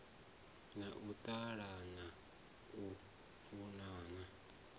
na u ṱalana u funana